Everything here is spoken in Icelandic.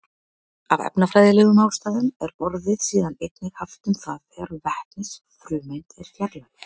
Af efnafræðilegum ástæðum er orðið síðan einnig haft um það þegar vetnisfrumeind er fjarlægð.